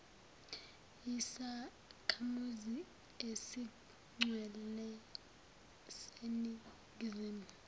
yisakhamuzi esigcwele seningizimu